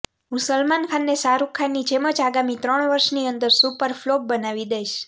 હું સલમાન ખાનને શાહરુખ ખાનની જેમ જ આગામી ત્રણ વર્ષની અંદર સુપર ફ્લોપ બનાવી દઈશ